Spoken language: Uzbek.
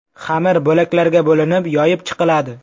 Xamir bo‘laklarga bo‘linib, yoyib chiqiladi.